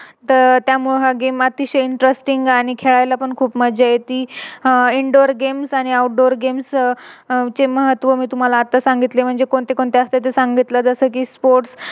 तर त्यामुळे हा Game अतिशय Interesting आणि खेळायला पण खूप मज्जा येते अह Indoor games आणि Outdoor games यांचे महत्व मी तुम्हाला आता सांगितले म्हणजे कोणते कोणते असते जस कि Sports